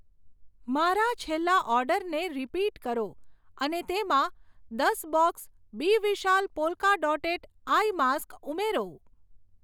મારા છેલ્લા ઓર્ડરને રીપીટ કરો અને તેમાં દસ box B Vishal polka dotted eye mask ઉમેરો.